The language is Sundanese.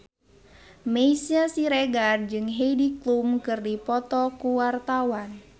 Meisya Siregar jeung Heidi Klum keur dipoto ku wartawan